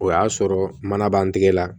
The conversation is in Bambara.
O y'a sɔrɔ mana b'an tɛgɛ la